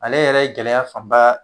Ale yɛrɛ ye gɛlɛya fanba